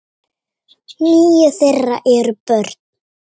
Níu þeirra eru börn.